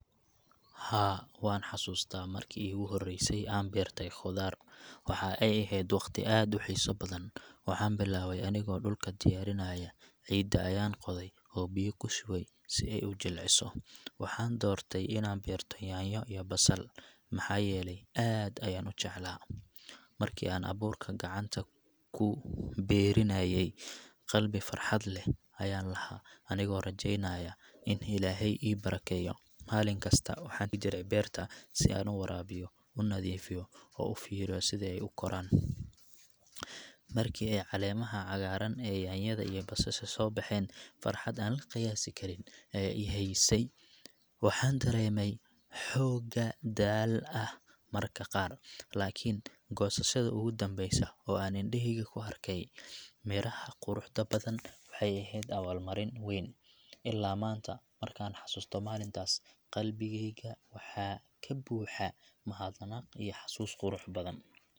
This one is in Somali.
Haa, waan xasuustaa markii iigu horreysay aan beertay khudaar. Waxa ay ahayd waqti aad u xiiso badan. Waxaan bilaabay anigoo dhulka diyaarinaya, ciidda ayaan qoday oo biyo ku shubay si ay u jilciso. Waxaan doortay inaan beerto yaanyo iyo basal, maxaa yeelay aad ayaan u jeclaa. Markii aan abuurka gacanta ku beerinayay, qalbi farxad leh ayaan lahaa, anigoo rajeynaya in Ilaahay ii barakeeyo. Maalin kasta waxaan jiray beerta si aan u waraabiyo, u nadiifiyo, oo u fiiriyo sida ay u koraan. Markii ay caleemaha cagaaran ee yaanyada iyo basasha soo baxeen, farxad aan la qiyaasi karin ayaa i haysay. Waxaan dareemay xooga daal ah marka qaar, laakiin goosashada ugu dambeysa oo aan indhahayga ku arkay midhaha quruxda badan waxay ahayd abaalmarin weyn. Ilaa maanta, markaan xasuusto maalintaas, qalbigayga waxaa ka buuxa mahadnaq iyo xasuus qurux badan.